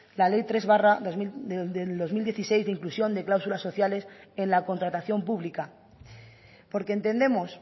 la ley tres barra dos mil dieciséis de inclusión de cláusulas sociales en la contratación pública porque entendemos